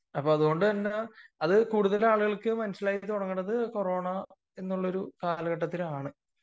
അത് കൂടുതൽ ആളുകൾക്ക് മനസ്സിലാക്കിയത് ആ ഒരു കൊറോണ എന്ന കാലഘട്ടത്തിലാണ്